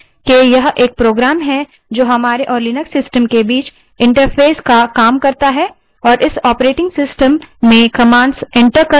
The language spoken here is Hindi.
हम shell को program के रूप में परिभाषित कर सकते हैं जो हमारे और लिनक्स system के बीच interface की तरह काम करता है